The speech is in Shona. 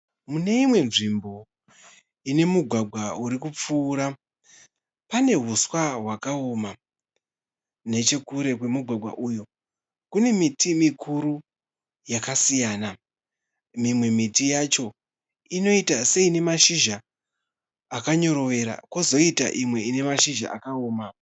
Mune imwe nzvimbo ine mugwagwa urikupfuura. Pane huswa hwakaoma. Nechekure kwemugwagwa uyu kune miti mikuru yakasiyana. Mimwe miti yacho inoita seine mashizha akanyorovera kozoita imwe ine mashizha akaoma.